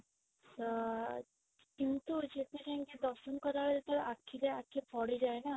ତ କିନ୍ତୁ ଯେବେ ଯାଇକି ଦର୍ଶନ କରିବା ଭିତରେ ଯେତେବେଳେ ଆଖିରେ ଆଖି ପଡ଼ିଯାଏ ନା